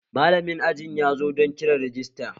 Malamin aji yazo don kiran rajista